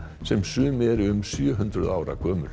sem sum eru um sjö hundruð ára gömul